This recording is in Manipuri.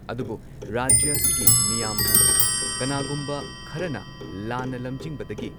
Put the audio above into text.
ꯑꯗꯨꯕꯨ ꯔꯥꯖ꯭ꯌ ꯑꯁꯤꯒꯤ ꯃꯤꯌꯥꯝꯕꯨ ꯀꯅꯥꯒꯨꯝꯕ ꯈꯔꯅ ꯂꯥꯟꯅ ꯂꯝꯖꯤꯡꯕꯗꯒꯤ